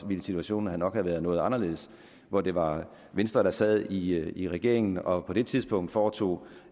ville situationen nok have været noget anderledes hvor det var venstre der sad i i regeringen og på det tidspunkt foretog